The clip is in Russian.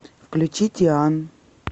включи тиан